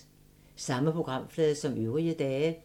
Samme programflade som øvrige dage